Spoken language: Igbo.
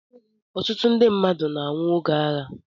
Ọtụtụ ndị mmadụ na-anwụ oge agha.